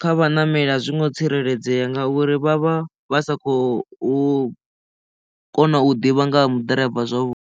kha vhaṋameli a zwi ngo tsireledzea ngauri vha vha vha sa khou kona u ḓivha nga ha mu ḓiraiva zwavhuḓi.